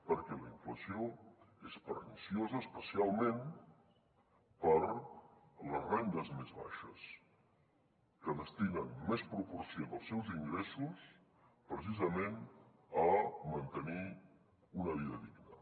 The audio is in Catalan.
perquè la inflació és perniciosa especialment per a les rendes més baixes que destinen més proporció dels seus ingressos precisament a mantenir una vida digna